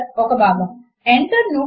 నేను markup ను copy చేసి పేస్ట్ చేస్తున్నాను